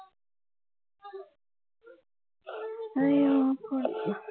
ஆஹ் ஹம்